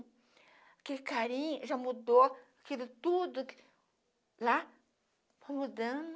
Aquele carinho já mudou, aquilo tudo lá tá mudando.